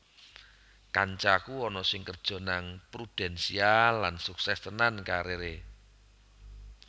Kancaku ana sing kerjo nang Prudential lan sukses tenan karir e